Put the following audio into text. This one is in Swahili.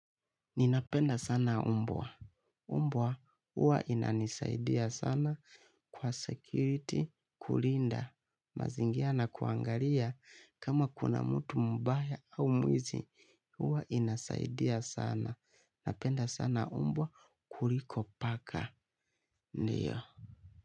Ninapenda sana mbwa. Mbwa huwa inanisaidia sana kwa 'security' kulinda, mazingira na kuangalia kama kuna mtu mbaya au mwizi. Huwa inasaidia sana. Napenda sana mbwa kuliko paka. Ndio.